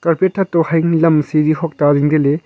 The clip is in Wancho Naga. thak toh haing lam siri huakta zingley ley--